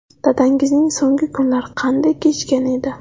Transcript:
Dadangizning so‘nggi kunlari qanday kechgan edi?